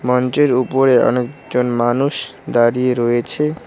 উপরে অনেকজন মানুষ দাড়িয়ে রয়েছে।